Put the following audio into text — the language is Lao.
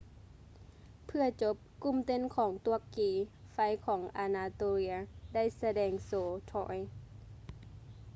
ເພື່ອຈົບ ກຸ່ມເຕັ້ນຂອງຕວກກີ ໄຟຂອງອານາໂຕເລຍ ໄດ້ສະແດງໂຊ troy